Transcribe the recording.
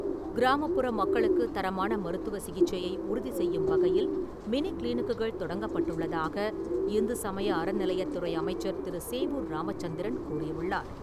கிராமப்புற மக்களுக்குத் தரமான மருத்துவச் சிகிச்சையை உறுதிசெய்யும் வகையில் மினி கிளினிக்குகள் தொடங்கப்பட்டுள்ளதாக இந்து சமய அறநிலையத்துறை அமைச்சர் திரு. சேவூர் ராமச்சந்திரன் கூறியுள்ளார்.